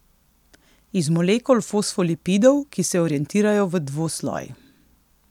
Iz molekul fosfolipidov, ki se orientirajo v dvosloj.